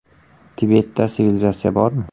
Tibetda sivilizatsiya bormi?